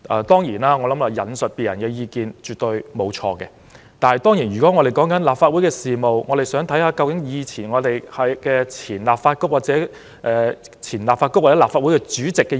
當然，引述他人的意見絕對沒有錯，尤其是立法會事務，我們可以參考前立法局或前立法會主席的意見。